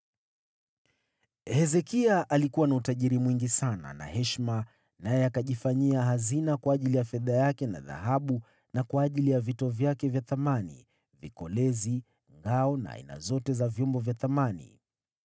Hezekia alikuwa na utajiri mwingi sana na heshima, naye akajifanyia hazina kwa ajili ya fedha yake na dhahabu na kwa ajili ya vito vyake vya thamani, vikolezi, ngao na aina zote za vyombo vya thamani.